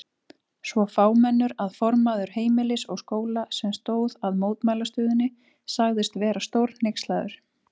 Svo fámennur að formaður Heimilis og Skóla, sem stóð að mótmælastöðunni sagðist vera stórhneykslaður.